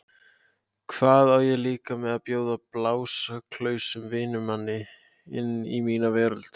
Hvað á ég líka með að bjóða blásaklausum vinnumanni inn í mína veröld.